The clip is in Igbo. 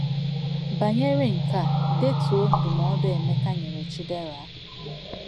Banyere nke a, detuo ndụmọdụ Emeka nyere Chidera